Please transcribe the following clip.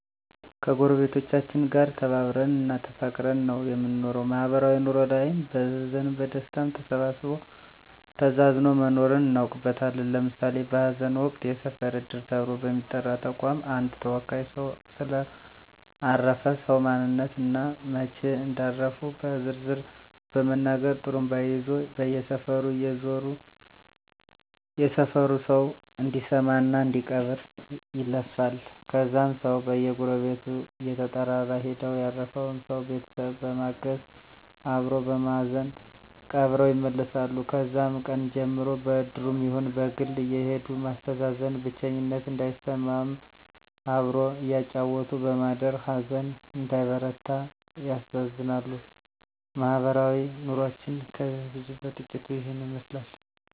ከጎረቤቶቻችን ጋር ተከባብረን እና ተፋቅረን ነው የምንኖረው ማህበራዊ ኑሮ ላይም በሀዘንም በደስታም ተሳስቦ ተዛዝኖ መኖርን እናውቅበታለን ለምሳሌ በሀዘን ወቅት የሰፈር እድር ተብሎ በሚጠራ ተቋም አንድ ተወካይ ሰው ስለ አረፈ ሰው ማንነት እና መች እንዳረፉ በዝርዝር በመናገር ጡሩምባ ይዞ በየሰፈሩ እየዞረ የሰፈሩ ሰው እንዲሰማ እና እንዲቀብር ይለፍፋል ከዛም ሰው በየጎረቤቱ እየተጠራራ ሄደው ያረፈውን ሰው ቤተሰብ በማገዝ አበሮ በማዘን ቀብረው ይመለሳሉ ከዛም ቀን ጀምሮ በእድሩም ይሁን በግል አየሄዱ ማስተዛዘን ብቸኝነት እንዳይሰማም አብሮ እያጫወቱ በማደር ሀዘን እንዳይበረታ ያስተዛዝናሉ ማህበረሰባዊ ኑሮችን ከብዙ በጥቂቱ ይህን ይመስላል